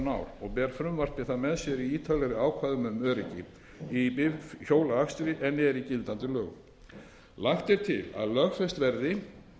og ber frumvarpið það með sér í ítarlegri ákvæðum um öryggi í bifhjólaakstri en eru í gildandi lögum lagt er til að lögfest verði